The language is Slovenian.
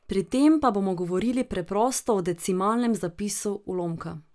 Pri tem pa bomo govorili preprosto o decimalnem zapisu ulomka.